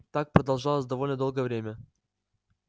так продолжалось довольно долгое время